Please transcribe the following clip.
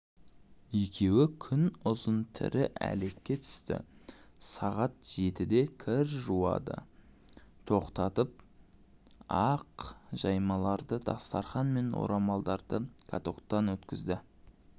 екеуі күн ұзын тірі әлекке түсті сағат жетіде кір жууды тоқтатып ақ жаймаларды дастархан мен орамалдарды катоктан өткізді